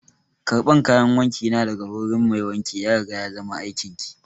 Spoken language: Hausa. Karban kayan wanki na daga wurin mai wanki ya riga ya zama aikin ki!